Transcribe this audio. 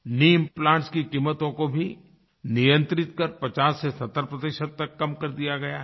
Knee implants की क़ीमतों को भी नियंत्रित कर 50 से 70 तक कम कर दिया गया है